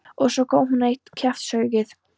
Og svo kom enn eitt kjaftshöggið.